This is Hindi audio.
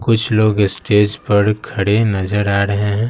कुछ लोग स्टेज पर खड़े नजर आ रहे हैं।